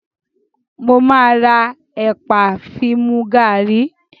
Mo máa ra ẹ̀pà fi mu gàrí.